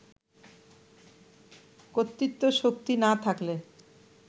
কর্তৃত্বশক্তি না থাকলে